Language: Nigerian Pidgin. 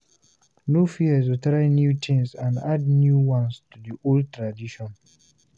No fear to try new things and add new ones to the old tradition